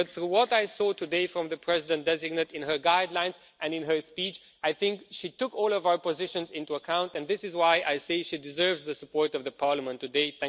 But from what I saw today from the President designate in her guidelines and in her speech, I think she took all of our positions into account, and this is why I say she deserves the support of Parliament today.